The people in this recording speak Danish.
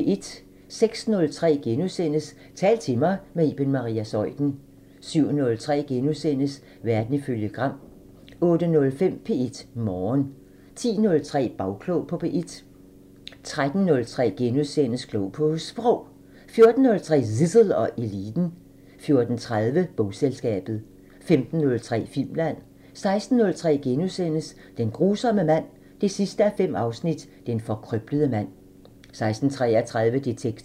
06:03: Tal til mig – med Iben Maria Zeuthen * 07:03: Verden ifølge Gram * 08:05: P1 Morgen 10:03: Bagklog på P1 13:03: Klog på Sprog * 14:03: Zissel og Eliten 14:30: Bogselskabet 15:03: Filmland 16:03: Den grusomme mand 5:5 – Den forkrøblede mand * 16:33: Detektor